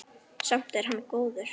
Samt er hann góður.